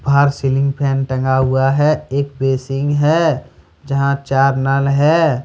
बाहर ceiling fan टंगा हुआ है। एक बेसिंग है जहां चार नल है ।